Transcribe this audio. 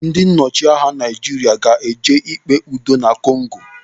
Ndị ọchịagha Naijiria ga-eje ikpe udo na Kongo.